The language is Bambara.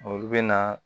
Olu bɛ na